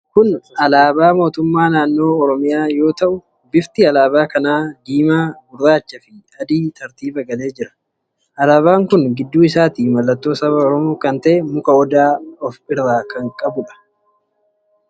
Kun alaabaa Mootummaa Naannoo Oromiyaa yoo ta'u, bifti alaabaa kanaa diimaa, gurraacha fi adiin tartiiba galee jira. Alaabaan kun gidduu isaatti mallattoo saba oromoo kan ta'e muka Odaa of irra kan qabuudha.